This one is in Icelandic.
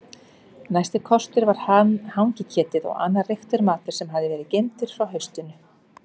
Næsti kostur var hangiketið og annar reyktur matur sem hafði verið geymdur frá haustinu.